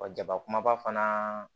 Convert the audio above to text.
Wa jaba kumaba fana